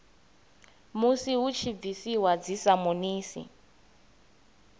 musi hu tshi bviswa dzisamonisi